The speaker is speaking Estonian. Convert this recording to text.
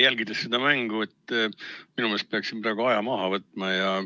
Jälgides seda mängu, arvan ma, et praegu peaks aja maha võtma.